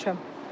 Bilməmişəm.